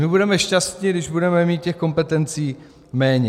My budeme šťastní, když budeme mít těch kompetencí méně.